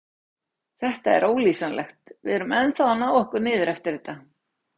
Þetta er ólýsanlegt, við erum ennþá að ná okkur niður eftir þetta.